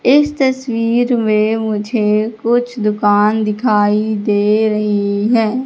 इस तस्वीर में मुझे कुछ दुकान दिखाई दे रही है।